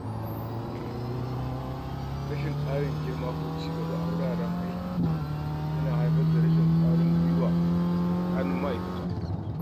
Rashin karin girma ko cigaba a wuraren aiki ya na haifar da rashin ƙwarin gwiwa a tsakanin ma'aikata.